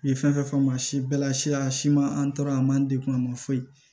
U ye fɛn fɛn faamu si bɛɛ la siya siman an tora a man degun a ma foyi